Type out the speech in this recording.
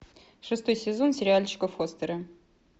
шестой сезон сериальчика фостеры